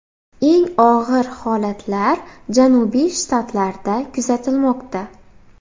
Eng og‘ir holatlar janubiy shtatlarda kuzatilmoqda.